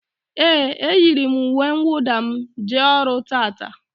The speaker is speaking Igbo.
Éè, e yiri m uwe nwụda m jee ọrụ taata